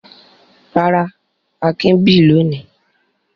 Rárá, Akin bì lónìí.